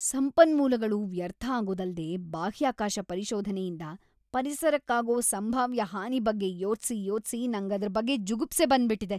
ಸಂಪನ್ಮೂಲಗಳು ವ್ಯರ್ಥ ಆಗೋದಲ್ದೇ ಬಾಹ್ಯಾಕಾಶ ಪರಿಶೋಧನೆಯಿಂದ ಪರಿಸರಕ್ಕಾಗೋ ಸಂಭಾವ್ಯ ಹಾನಿ ಬಗ್ಗೆ ಯೋಚ್ಸಿ ಯೋಚ್ಸಿ ನಂಗ್‌ ಅದ್ರ್‌ ಬಗ್ಗೆ ಜುಗುಪ್ಸೆ ಬಂದ್ಬಿಟಿದೆ.